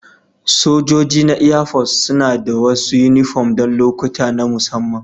Sojojin na Airforce suna da wasu yunifom don lokuta na musamman